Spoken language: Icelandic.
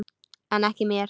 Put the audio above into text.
En ekki mér.